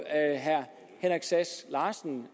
herre henrik sass larsen